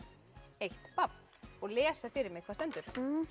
eitt babb og lesa fyrir mig hvað stendur